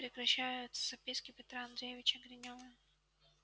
здесь прекращаются записки петра андреевича гринёва